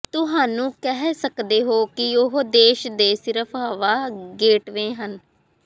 ਤੁਹਾਨੂੰ ਕਹਿ ਸਕਦੇ ਹੋ ਕਿ ਉਹ ਦੇਸ਼ ਦੇ ਸਿਰਫ ਹਵਾ ਗੇਟਵੇ ਹਨ